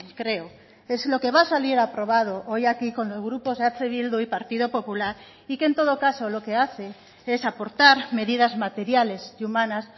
creo es lo que va a salir aprobado hoy aquí con los grupos eh bildu y partido popular y que en todo caso lo que hace es aportar medidas materiales y humanas